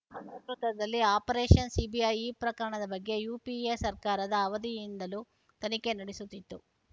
ವಲ್‌ ನೇತೃತ್ವದಲ್ಲಿ operation CBI ಈ ಪ್ರಕರಣದ ಬಗ್ಗೆ ಯುಪಿಎ ಸರ್ಕಾರದ ಅವಧಿಯಿಂದಲೂ ತನಿಖೆ ನಡೆಸುತ್ತಿತ್ತು